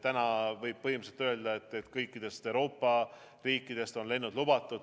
Täna võib põhimõtteliselt öelda, et kõikidest Euroopa riikidest on lennud lubatud.